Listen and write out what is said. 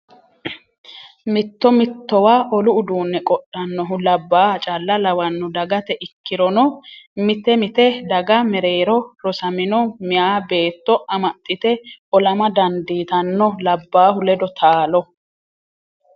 Mitto mittowa olu uduune qodhanohu labbaha calla lawano dagate ikkirono mite mite daga mereero rosamino meeyi beetto amaxite ollama dandiittano labbahu ledo taalo.